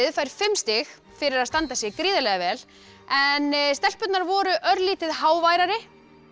fær fimm stig fyrir að standa sig gríðarlega vel en stelpurnar voru örlítið háværari